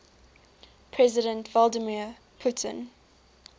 president vladimir putin